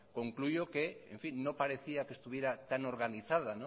concluyo que no parecía que estuviera tan organizada